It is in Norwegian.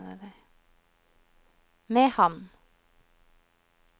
Mehamn